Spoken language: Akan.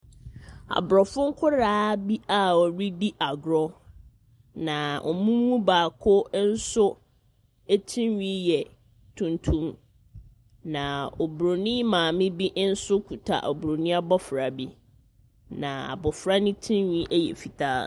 Abrofo nkwaraa a wɔredi agorɔ. Na wɔn mu baako nso tiri nhwi yɛ tuntum. Na Oburoni maame bi nso kita Oburoni Abofra bi. Na abofra no tiri nhwi yɛ fitaa.